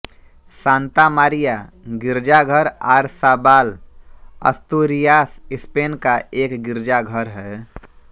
Santa Maria गिरजाघर आरसाबाल Asturias Spain का एक गिरजाघर है